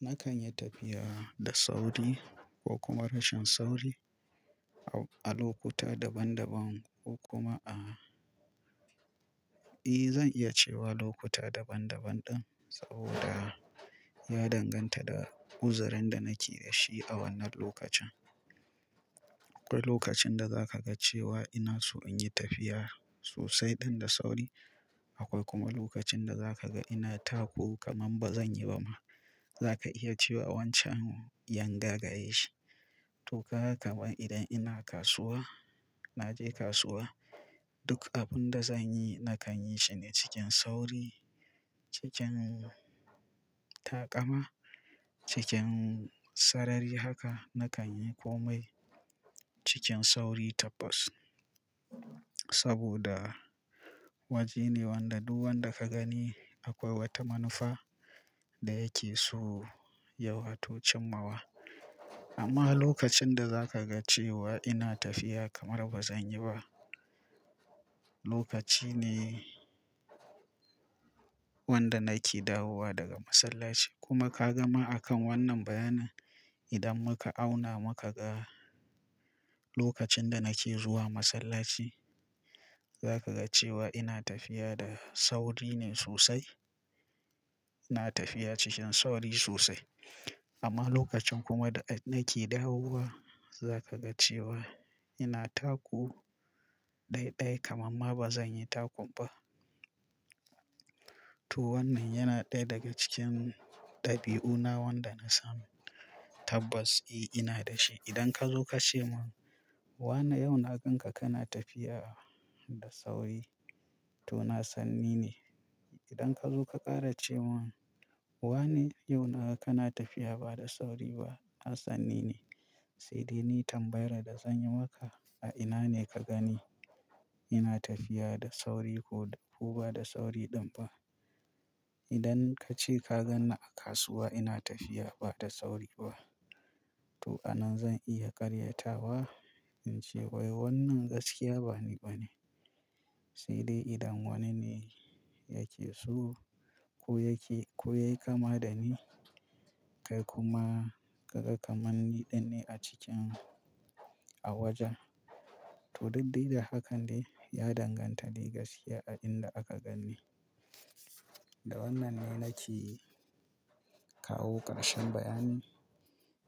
Nakan yi tafiya da sauri ko kuma rashin sauri a lokuta daban-daban ko kuma ahh eh, zan iya cewa lokuta daban-daban ɗin saboda ya danganta da uzurinda nake da shi a wannan lokacin. Akwai lokacin da za ka ga cewa ina so in yi tafiya sosai ɗan da sauri. Akwai kuma lokacin da zakaga ina taku kamar ba zanyi bama. Zaka iya cewa wancan yanga gareshi toka kaman idan ina kasuwa, naje kasuwa, duk abunda zanyi nakan yi shine cikin sauri, cikin taƙama, cikin sarari. Haka nakanyi komai cikin sauri tabbas. Saboda wajene wanda duk wanda kagani akwai wata manufa da yake so ya wato cimmawa. Amma lokacinda zakaga cewa ina tafiya kamar ba zanyiba, lokaci ne wanda nake dawowa daga masallaci. Kuma ka gama a kan wannan bayanin idan muka auna muka ga lokacin da nake zuwa masallaci, za ka ga cewa ina tafiya da sauri ne sosai. Ina tafiya cikin sauri sosai. Amma lokacin kuma da nake dawowa, za kaga cewa ina taku ɗaiɗai kamarma ba zanyi takunba. To wannan yana ɗaya daga cikin ɗabi'una wanda na sani. Tabbas eh ina dashi. Idan kazo kace mun wane yauna ganka kana tafiya da sauri, to na sanni ne. Idan kazo ka ƙara cemun wane yau na ganka kana tafiya ba da sauri ba, na sanni ne. Saidai ni tambayar da zanyi maka, a inane ka gani ina tafiya da sauri ko bada sauri ɗinba? Idan kace ka ganni a kasuwa ina tafiya bada sauri ba, to a nan zan iya ƙaryatawa ince wai wannan gaskiya bani bane. Saidai idan wanine yake so ko yake, koyai kama dani kai kuma kaga kamar ni ɗinne a cikin, a wajen, to daddai da hakan de ya danganta dai gaskiya a inda aka ganni. Da wannan ne nake kawo ƙarshen bayani.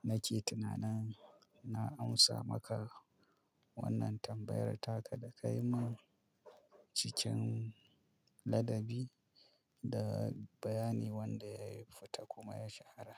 Nake tunanin na amsa maka wannan tambayar taka da kayimun cikin ladabi da bayani wanda yayi fita kuma ya shahara.